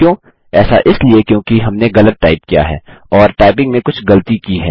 ऐसा इसलिए क्योंकि हमने गलत टाइप किया है या टाइपिंग में कुछ गलती की है